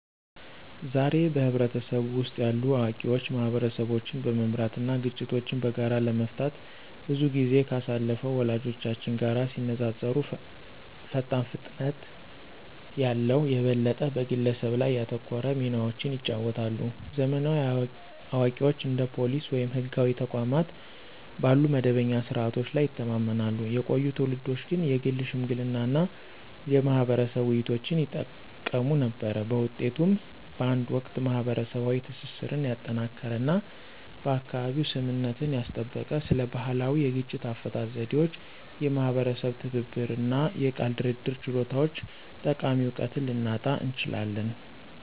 ዛሬ፣ በህብረተሰቡ ውስጥ ያሉ አዋቂዎች ማህበረሰቦችን በመምራት እና ግጭቶችን በጋራ ለመፍታት ብዙ ጊዜ ካሳለፉት ወላጆቻችን ጋር ሲነፃፀሩ ፈጣን ፍጥነት ያለው፣ የበለጠ በግለሰብ ላይ ያተኮረ ሚናዎችን ይጫወታሉ። ዘመናዊ አዋቂዎች እንደ ፖሊስ ወይም ህጋዊ ተቋማት ባሉ መደበኛ ስርዓቶች ላይ ይተማመናሉ፣ የቆዩ ትውልዶች ግን የግል ሽምግልና እና የማህበረሰብ ውይይቶችን ይጠቀሙ ነበር። በውጤቱም፣ በአንድ ወቅት ማህበረሰባዊ ትስስርን ያጠናከረ እና በአካባቢው ስምምነትን ያስጠበቀ ስለ ባህላዊ የግጭት አፈታት ዘዴዎች፣ የማህበረሰብ ትብብር እና የቃል ድርድር ችሎታዎች ጠቃሚ እውቀትን ልናጣ እንችላለን።